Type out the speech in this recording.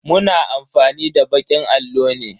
Mu na amfani da bakin allo ne.